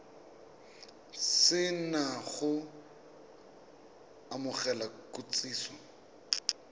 se na go amogela kitsiso